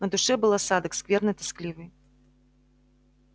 на душе был осадок скверный тоскливый